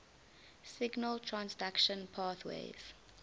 signal transduction pathways